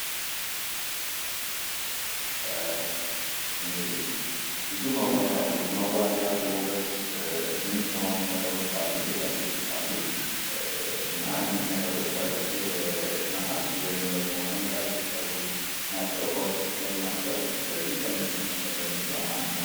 እንግዲህ ብዙ መዋቢያ የውበት ምንጭ የሆኑ ነገሮች አሉ ጌጣጌጦች አሉ። እና እነዚህ ነገሮች ነገሮች ከብር፣ ከነሀስ ወይም ደግሞ ከመዳብ የተሰሩ ናቸው ከወርቅ የተሰሩ ናቸው ፤ ስለዚህ ከነዚህ መካከል ደግሞ ይሄ አንዱ ነው።